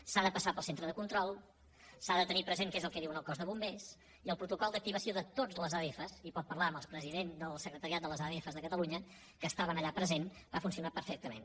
s’ha de passar pel centre de control s’ha de tenir present què és el que diu el cos de bombers i el protocol d’activació de totes les adf i pot parlar amb el president del secretariat de les adf de catalunya que estava allà present va funcionar perfectament